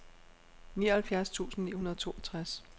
nioghalvfjerds tusind ni hundrede og toogtres